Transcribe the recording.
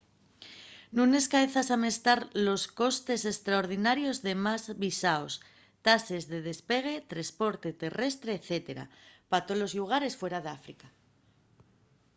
nun escaezas amestar los costes estraordinarios de más visaos tases de despegue tresporte terrestre etc. pa tolos llugares fuera d’áfrica